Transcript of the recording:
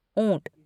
ऊँट